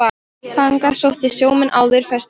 Þangað sóttu sjómenn áður ferskt vatn.